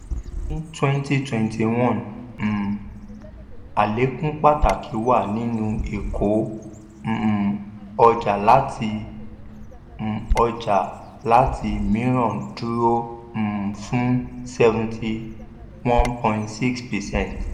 ní twenty twenty one um àlékún pàtàkì wà nínú ìkó um ọjà láti um ọjà láti mìíràn dúró um fún seventy one point six percent.